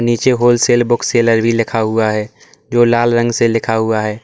नीचे wholesale book seller भी लिखा हुआ है जो लाल रंग से लिखा हुआ है।